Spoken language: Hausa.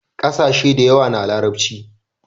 kasashe da yawa na larabci